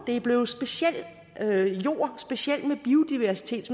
er blevet speciel jord